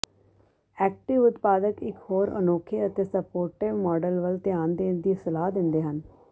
active ਉਤਪਾਦਕ ਇੱਕ ਹੋਰ ਅਨੋਖੇ ਅਤੇ ਸਪੋਰਟੀਵ ਮਾਡਲ ਵੱਲ ਧਿਆਨ ਦੇਣ ਦੀ ਸਲਾਹ ਦਿੰਦੇ ਹਨ